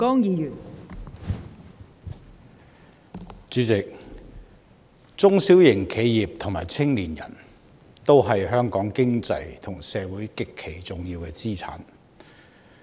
代理主席，中小型企業和青年人都是香港經濟和社會極其重要的資產。